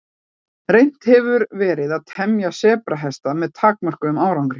Reynt hefur verið að temja sebrahesta með takmörkuðum árangri.